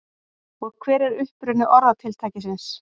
hver er uppruni orðatiltækisins